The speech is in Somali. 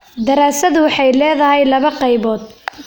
Daraasadu waxay leedahay laba qaybood.